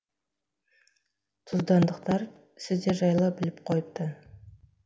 тұздандықтар сіздер жайлы біліп қойыпты